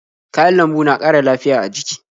Kayan lambu na ƙara lafiya a jiki.